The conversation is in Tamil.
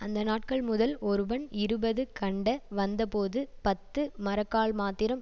அந்த நாட்கள் முதல் ஒருவன் இருபது கண்ட வந்தபோது பத்து மரக்கால்மாத்திரம்